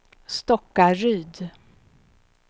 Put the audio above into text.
Stockaryd